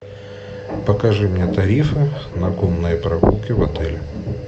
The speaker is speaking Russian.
покажи мне тарифы на конные прогулки в отеле